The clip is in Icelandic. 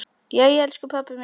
Jæja, elsku pabbi minn.